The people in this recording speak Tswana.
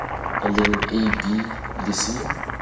leng a b le c